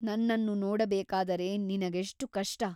ನನ್ನನ್ನು ನೋಡಬೇಕಾದರೆ ನಿನಗೆಷ್ಟು ಕಷ್ಟ !